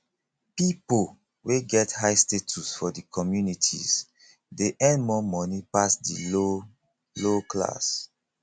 pipo wey get high status for di communities de earn more money pass di low low class